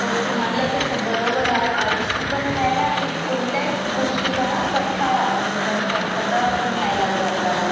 हो तुम्हाला तस बोबर हाय आळशी पण व्ह्ययलाय आणि कोणत्याच गोष्टीचा ना कंटाळा म्हणजे कंटाळपण यायला लागलाय बघ आपल्याला